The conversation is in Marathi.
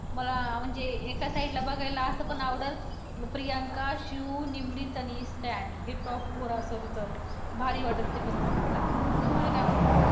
मला म्हणजे एका side ला बघायला असं पण आवडल प्रियांका, शिव, निमरीत आणि stan हे top four असेल तर भारी वाटेल ते पण बघायला, तुम्हाला काय वाटतं?